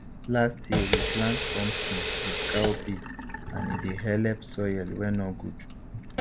last year we plant pumpkin with cowpea and e dey helep soil wey nor good